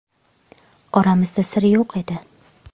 Oramizda sir yo‘q edi.